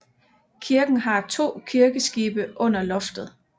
Kirken har to kirkeskibe under loftet